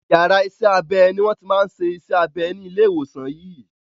Iyàrá isẹ́ abẹ ni wọ́n ti máa ń ṣe iṣẹ́ abẹ ní ilé ìwòsàn yìí.